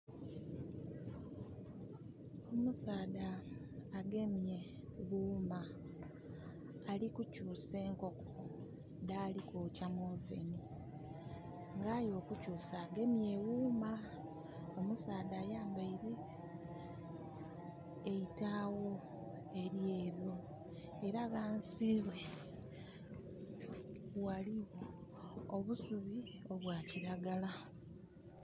Omusaadha agemye ghuuma. Ali kukyusa enkoko dhali kwokya mu oven, ng'aye okukyusa agemye eghuuma. Omusaadha ayambaile e itaagho elyeeru. Era ghansi ghe ghaligho obusubi obwa kilagala.